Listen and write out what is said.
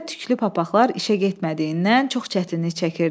Yayda tüklü papaqlar işə getmədiyindən çox çətinlik çəkirdi.